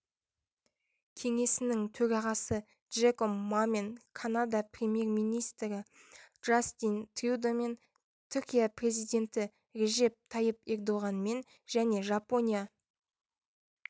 кеңесінің төрағасы джеком мамен канада премьер-министрі джастин трюдомен түркия президенті режеп тайып ердоғанмен және жапония